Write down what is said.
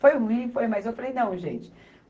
Foi ruim, foi, mas eu falei, não, gente.